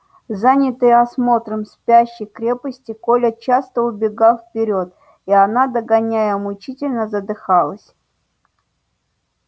занятый осмотром спящей крепости коля часто убегал вперёд и она догоняя мучительно задыхалась